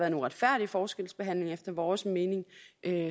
en uretfærdig forskelsbehandling efter vores mening